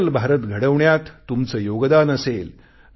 digital Bharat घडवण्यात तुमचे योगदान असेल